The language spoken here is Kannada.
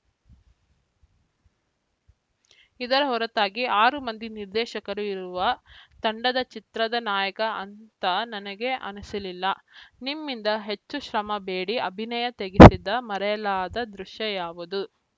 ಇದರ ಹೊರತಾಗಿ ಆರು ಮಂದಿ ನಿರ್ದೇಶಕರು ಇರುವ ತಂಡದ ಚಿತ್ರದ ನಾಯಕ ಅಂತ ನನಗೆ ಅನಿಸಲಿಲ್ಲ ನಿಮ್ಮಿಂದ ಹೆಚ್ಚು ಶ್ರಮ ಬೇಡಿ ಅಭಿನಯ ತೆಗೆಸಿದ ಮರೆಯಲಾದ ದೃಶ್ಯ ಯಾವುದು